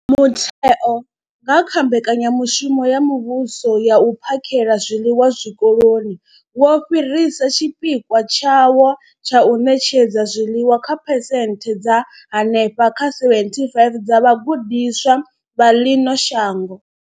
Mutheo, nga kha Mbekanya mushumo ya Muvhuso ya U phakhela zwiḽiwa Zwikoloni, wo fhirisa tshipikwa tshawo tsha u ṋetshedza zwiḽiwa kha phesenthe dza henefha kha 75 dza vhagudiswa vha ḽino shango.